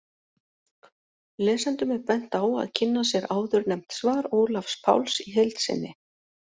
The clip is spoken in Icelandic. Lesendum er bent á að kynna sér áðurnefnt svar Ólafs Páls í heild sinni.